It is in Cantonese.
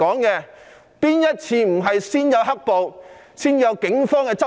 試問哪一次不是先有"黑暴"，才有警方執法？